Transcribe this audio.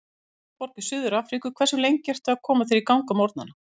Höfðaborg í Suður-Afríku Hversu lengi ertu að koma þér í gang á morgnanna?